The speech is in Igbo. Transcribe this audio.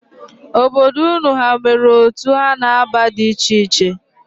Obodo unu ha nwere otu ha na-aba di icheiche?